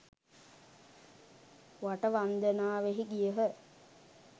වට වන්දනාවෙහි ගියහ.